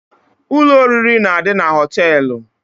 Ụlọ oriri na-adị na hóteélụ̀